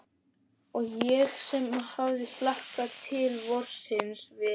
Og ég sem hafði hlakkað til vorsins við